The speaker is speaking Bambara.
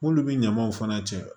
M'olu bɛ ɲamaw fana cɛ